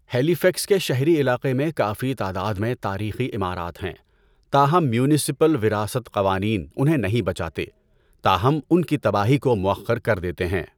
ہیلی fax کے شہری علاقے میں کافی تعداد میں تاریخی عمارات ہیں، تاہم میونسپل وراثت قوانین انہیں نہیں بچاتے، تاہم ان کی تباہی کو مؤخر کر دیتے ہیں۔